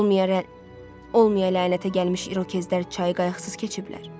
Olmaya lənətə gəlmiş İrokezlər çayı qayıqsız keçiblər?